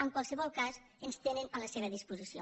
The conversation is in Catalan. en qualsevol cas ens tenen a la seva disposició